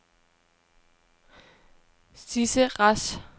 Sidse Rasch